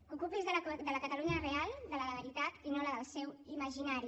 ocupi’s de la catalunya real de la de veritat i no la del seu imaginari